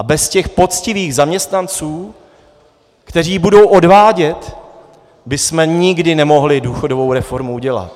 A bez těch poctivých zaměstnanců, kteří budou odvádět, bychom nikdy nemohli důchodovou reformu udělat.